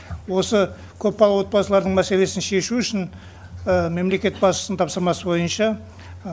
осы көпбалалы отбасылардың мәселесін шешу үшін мемлекет басшысының тапсырмасы бойынша